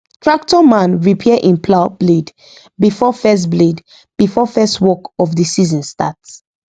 tractor man repair him plough blade before first blade before first work of the season start